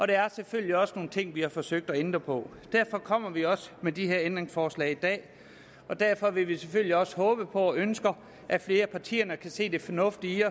der er selvfølgelig også nogle ting vi har forsøgt at ændre på derfor kommer vi også med de her ændringsforslag i dag og derfor vil vi selvfølgelig også håbe på og ønsker at flere partier kan se det fornuftige i